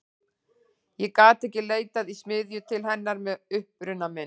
Ég gat ekki leitað í smiðju til hennar með uppruna minn.